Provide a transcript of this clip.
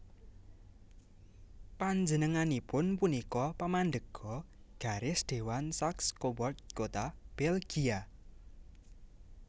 Panjenenganipun punika pamandhéga garis Dewan Saxe Coburg Gotha Belgia